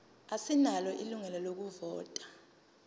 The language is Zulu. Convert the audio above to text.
asinalo ilungelo lokuvota